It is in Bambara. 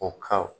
O ka